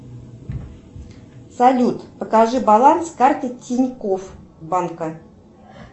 салют покажи баланс карты тинькофф банка